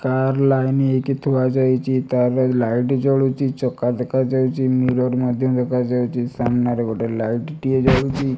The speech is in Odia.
କାର ଲାଇନ ହେଇକି ଥୁଆ ଯାଇଚି। କାର ର ବି ଲାଇଟ୍ ଜଳୁଚି। ଚକା ଦେଖା ଯାଉଚି ମିରର ମଧ୍ୟ ଦେଖା ଯାଉଚି। ସାମ୍ନାରେ ଗୋଟିଏ ଲାଇଟ୍ ଟିଏ ଜଳୁଚି।